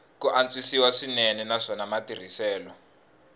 ku antswisiwa swinene naswona matirhiselo